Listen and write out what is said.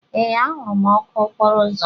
Ee, ahụrụ m ọkụ okporo ụzọ.